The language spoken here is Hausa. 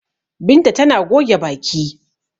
Binta tana goge baki.